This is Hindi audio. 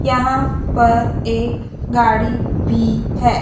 यहां पर एक गाड़ी भी है।